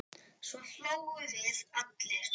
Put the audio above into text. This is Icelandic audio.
Svo hlógum við allir.